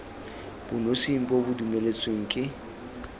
bonosing bo bo dumeletsweng ke